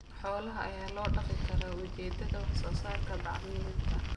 Xoolaha ayaa loo dhaqi karaa ujeedada wax soo saarka bacriminta.